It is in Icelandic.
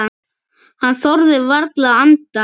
Hann þorði varla að anda.